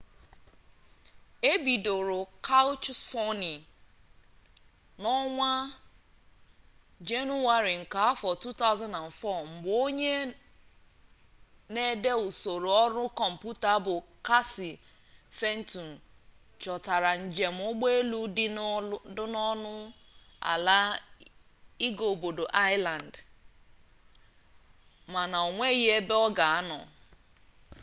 e bidoro kaụchsọfịn n'ọnwa jenụwarị nke afọ 2004 mgbe onye n'ede usoro ọrụ kọmputa bụ kasi fentụn chọtara njem ụgbọelu dị ọnụ ala ịga obodo aịsland mana onweghi ebe ọ ga-anọ